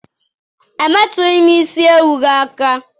Emetughim isi ewu gi aka!!